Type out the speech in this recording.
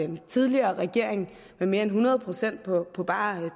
den tidligere regering med mere end hundrede procent på på bare